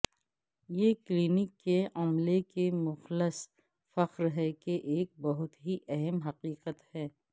یہ کلینک کے عملے کے مخلص فخر ہے کہ ایک بہت ہی اہم حقیقت ہے